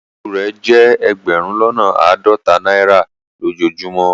Ọwọ́ osù rẹ jẹ ẹgbérùn lọ́nà aádọ́tà naira lojọ́ọjùmọ